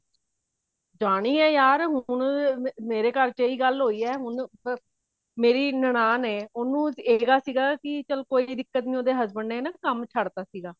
ਜਾਣੀ ਹੈ ਯਾਰ ਹੁਣ ਮੇਰੇ ਘਰ ਚ ਇਹੀ ਗੱਲ ਹੋਈ ਹੈ ਹੁਣ ਮੇਰੀ ਨਨਾਣ ਹੈ ਉਹਨੂੰ ਜਿਹੜਾ ਸੀਗਾ ਕੀ ਚਲ ਕੋਈ ਦਿੱਕਤ ਨੀ ਉਹਦੇ husband ਨੇ ਨਾ ਕੰਮ ਛੱਡਤਾ ਸੀਗਾ